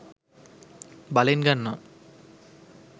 බලෙන් ගන්නවා.